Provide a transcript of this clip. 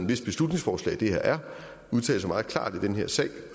hvis beslutningsforslag det her er udtale sig meget klart i den her sag